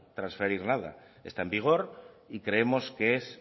transferir nada está en vigor y creemos que es